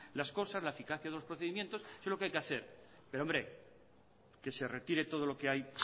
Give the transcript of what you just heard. las cosas la eficacia de los procedimientos eso es lo que hay que hacer pero hombre que se retire todo lo que hay